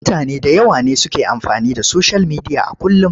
Mutane da yawa ne suke amfani da soshiyal midiya a kullum.